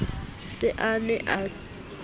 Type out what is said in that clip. se a ne a thobise